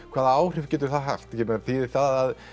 hvaða áhrif getur það haft ég meina þýðir það að